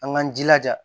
An k'an jilaja